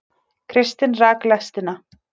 Kristinn rak lestina